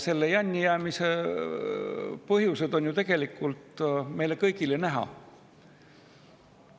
Selle jännijäämise põhjus on ju meile kõigile näha.